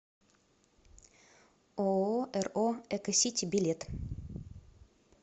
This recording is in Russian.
ооо ро эко сити билет